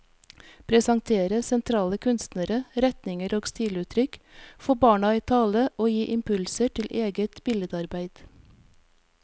Presentere sentrale kunstnere, retninger og stiluttrykk, få barna i tale og gi impulser til eget billedarbeid.